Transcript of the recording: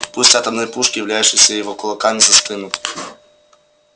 пусть атомные пушки являющиеся его кулаками застынут